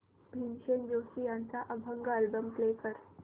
भीमसेन जोशी यांचा अभंग album play कर